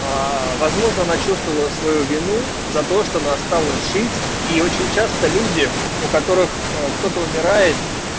возможно она чувствовала свою вину за то что она осталось жить и очень часто люди у которых кто-то умирает